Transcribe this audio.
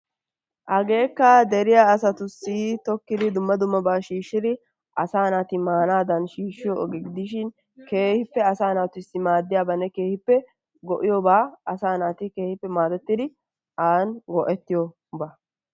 Hageekka dere asatussi tokkidi dumma dummaba shishidi asa naati maanadan shishiyo ogee gidishin keehippe asa naatussi maadiyabanee keehippe go'iyoba asa naati keehippe maadettidi an go'ettiyoba.